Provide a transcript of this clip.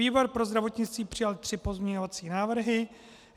Výbor pro zdravotnictví přijal tři pozměňovací návrhy.